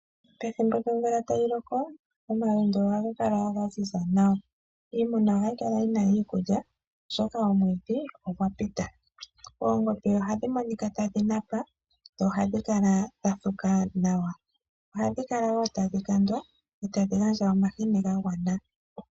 Pethimbo lyomvula tayi loko omalundu ohaga kala wo ga ziza nawa, iimuna ohayi kala yi na iikulya oshoka omwiidhi ogwa pita. Oongombe ohadhi monika tadhi napa dho ohadhi kala dha thuka nawa ohadhi kala wo tadhi kandwa dho tadhi gandja omahini ga gwana.